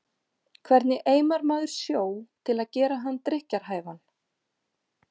Hvernig eimar maður sjó til að gera hann drykkjarhæfan?